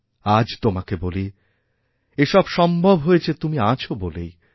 আজ তোমাকে বলি এসবসম্ভব হয় তুমি আছ বলেই